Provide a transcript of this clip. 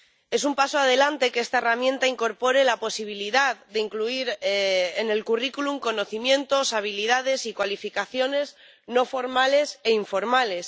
Es un paso adelante que esta herramienta incorpore la posibilidad de incluir en el currículum conocimientos, habilidades y cualificaciones no formales e informales.